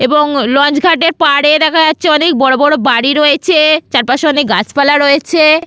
এবং লঞ্চ ঘাটের পাড়ে দেখা যাচ্ছে অনেক বড় বড় বাড়ি রয়েছে চারপাশে অনেক গাছপালা রয়েছে।